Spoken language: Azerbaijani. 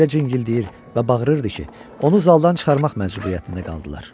O elə cingildəyir və bağırırdı ki, onu zaldan çıxarmaq məcburiyyətində qaldılar.